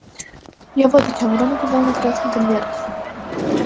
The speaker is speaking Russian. я вот о чем рон указал на красный конверт